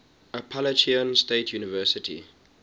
appalachian state university